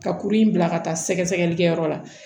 Ka kuru in bila ka taa sɛgɛsɛgɛlikɛyɔrɔ la